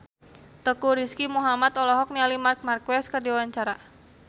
Teuku Rizky Muhammad olohok ningali Marc Marquez keur diwawancara